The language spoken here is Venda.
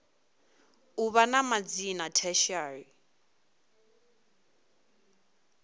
u vha na madzina tertiary